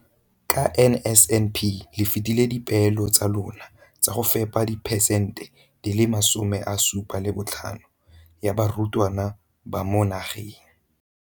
Ka NSNP le fetile dipeelo tsa lona tsa go fepa 75 percent ya barutwana ba mo nageng.